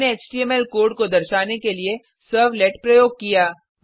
हमने HTML code को दर्शाने के लिए सर्वलेट प्रयोग किया